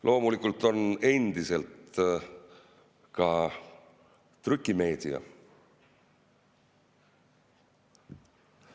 Loomulikult on endiselt ka trükimeedia.